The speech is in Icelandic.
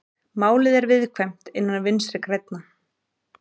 Málið er viðkvæmt innan Vinstri grænna